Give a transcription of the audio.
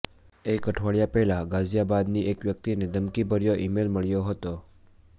એક અઠવાડિયા પહેલા ગાઝિયાબાદની એક વ્યક્તિને ધમકીભર્યો ઇમેઇલ મળ્યો હતો